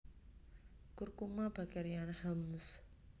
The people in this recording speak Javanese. Curcuma bakeriana Hemsl